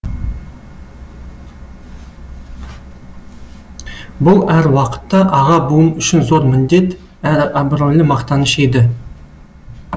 бұл әр уақытта аға буын үшін зор міндет әрі абыройлы мақтаныш еді